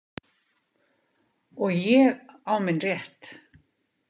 Og ég á minn rétt.